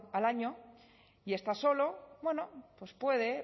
al año y está solo bueno pues puede